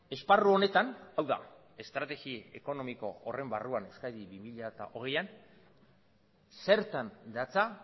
esparru honetan hau da estrategi ekonomiko horren barruan euskadi bi mila hogeian zertan datza